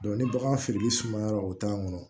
ni bagan feereli sumayara o t'a kɔnɔ